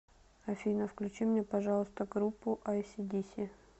афина включи мне пожалуйста группу айси диси